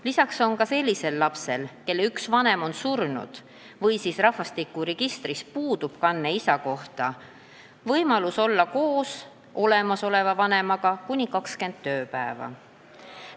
Lisaks on ka sellisel lapsel, kelle üks vanem on surnud või kelle isa kohta puudub rahvastikuregistris kanne, võimalus olla olemasoleva vanemaga koos kuni 20 tööpäeva.